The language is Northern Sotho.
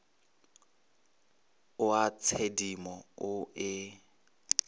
o a tshedimo o e